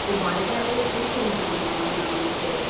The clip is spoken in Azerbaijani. Bu barədə o öz teleqram kanalında məlumat verib.